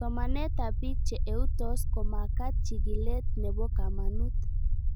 Somanet ab pik che eutos ko makat chig'ilet nepo kamanut